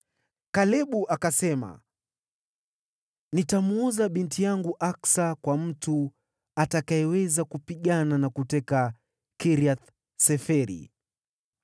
Kalebu akasema, “Nitamwoza binti yangu Aksa kwa mtu atakayeweza kupigana na kuteka Kiriath-Seferi.”